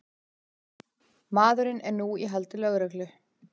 Maðurinn er nú í haldi lögreglu